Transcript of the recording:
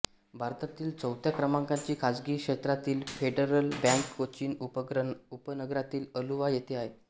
भारतातील चौथ्या क्रमांकाची खासगी क्षेत्रातील फेडरल बँक कोचीन उपनगरातील अलुवा येथे आहे